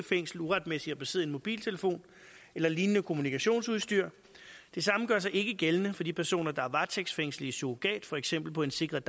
fængsel uretmæssigt at besidde en mobiltelefon eller lignende kommunikationsudstyr det samme gør sig ikke gældende for de personer der er varetægtsfængslet i surrogat for eksempel på en sikret